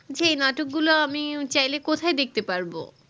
যেই নাটক গুলা আমিও চাইলে কোথায় দেখতে পারবো